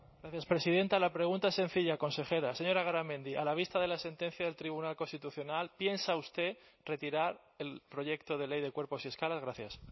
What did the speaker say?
gracias presidenta la pregunta es sencilla consejera señora garamendi a la vista de la sentencia del tribunal constitucional piensa usted retirar el proyecto de ley de cuerpos y escalas gracias